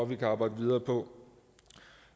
vi kan arbejde videre på